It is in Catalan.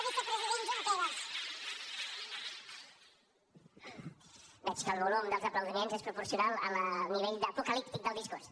veig que el volum dels aplaudiments és proporcional al nivell apocalíptic del discurs